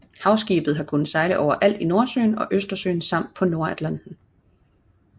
Havskibet har kunnet sejle overalt i Nordsøen og Østersøen samt på Nordatlanten